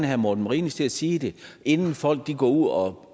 herre morten marinus til at sige det inden folk går ud og